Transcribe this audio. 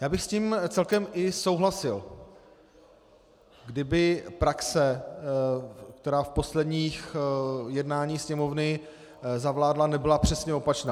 Já bych s tím celkem i souhlasil, kdyby praxe, která v posledních jednáních Sněmovny zavládla, nebyla přesně opačná.